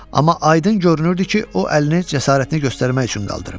Amma aydın görünürdü ki, o əlini cəsarətini göstərmək üçün qaldırıb.